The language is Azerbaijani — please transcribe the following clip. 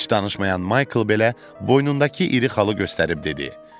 Heç danışmayan Michael belə boynundakı iri xalı göstərib dedi: